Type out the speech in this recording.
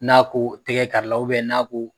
N'a ko tɛgɛ kari la n'a ko